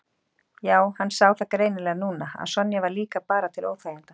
Já, hann sá það greinilega núna að Sonja var líka bara til óþæginda.